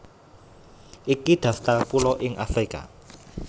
Iki daftar pulo ing Afrika